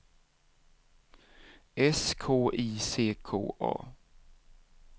S K I C K A